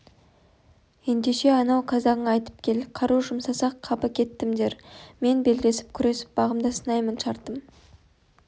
ендеше анау қазағыңа айтып кел қару жұмсасақ қапы кеттім дер мен белдесіп күресіп бағымды сынаймын шартым